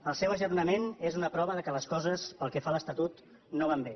el seu ajornament és una prova que les coses pel que fa l’estatut no van bé